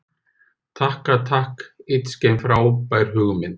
Takka takk ytskken frábær hugmynd.